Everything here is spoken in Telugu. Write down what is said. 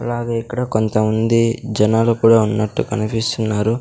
అలాగే ఇక్కడ కొంతమంది జనాలు కూడా ఉన్నట్టు కనిపిస్తున్నారు.